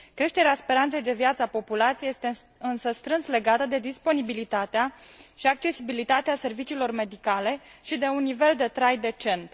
Creșterea speranței de viață a populației este însă strâns legată de disponibilitatea și accesibilitatea serviciilor medicale și de un nivel de trai decent.